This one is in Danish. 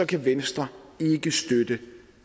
kan venstre ikke støtte